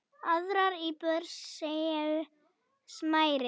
Aðrar íbúðir séu smærri.